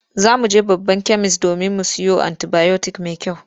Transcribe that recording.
Za mu je babban kemis domin mu siyo anti-bayotik mai kyau.